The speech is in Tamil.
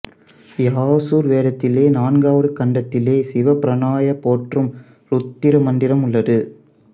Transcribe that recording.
யசுர் வேதத்திலே நான்காவது காண்டத்திலே சிவ பிரானைப் போற்றும் உருத்திர மந்திரம் உள்ளது